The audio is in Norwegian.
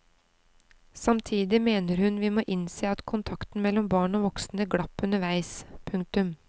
Samtidig mener hun vi må innse at kontakten mellom barn og voksne glapp underveis. punktum